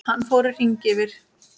Hann fór í hring yfir